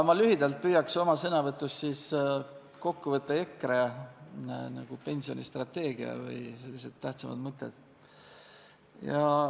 Ma püüan oma sõnavõtus lühidalt kokku võtta EKRE pensionistrateegiaga seotud tähtsamad mõtted.